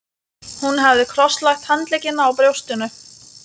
Hún hafði krosslagt handleggina á brjóstinu.